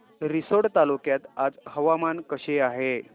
रिसोड तालुक्यात आज हवामान कसे आहे